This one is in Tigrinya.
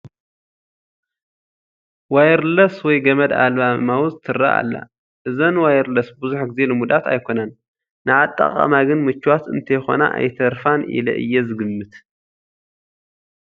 ዋየርለስ ወይም ገመድ ኣልባ ማውስ ትርአ ኣላ፡፡ እዘን ዋየርለስ ብዙሕ ግዜ ልሙዳት ኣይኮናን፡፡ ንኣጠቓቕማ ግን ምቹዋት እንተይኮና ኣይተርፋን ኢለ እየ ዝግምት፡፡